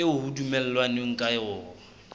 eo ho dumellanweng ka yona